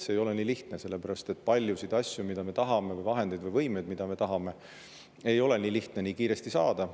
See ei ole nii lihtne, sellepärast et paljusid asju, vahendeid või võimeid, mida me tahame, ei ole nii lihtne nii kiiresti saada.